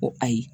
Ko ayi